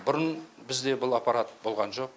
бұрын бізде бұл аппарат болған жоқ